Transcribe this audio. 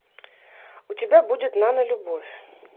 у тебя будет нанолюбовь